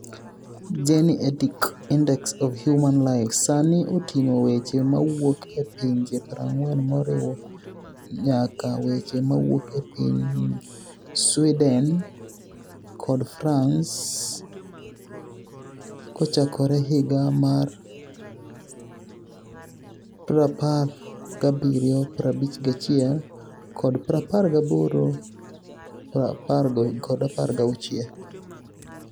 Geni etic Inidex of Humani Life sanii otinig'o weche mawuok e pinije 40, moriwo niyaka weche mawuok e piniy Swedeni kod Franice kochakore higa mar 1751 kod 1816.